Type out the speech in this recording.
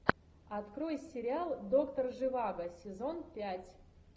открой сериал доктор живаго сезон пять